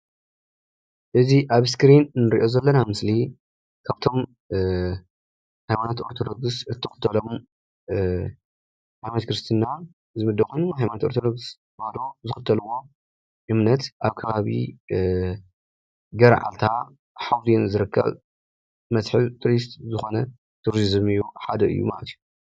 እዚ ኣብ እስክሪን ንርኦ ዘለና ምስሊ ካብቶም ሃይማኖታዊ ኦርቶዶክስ ተዋህዶ ክርስትና ዝክተልዎ ኣብ ከባቢ ገርዓልታ ሓውዘን ዝርከብ መስሓብ ትሩስት ትሩዚም ሓደ እዩ።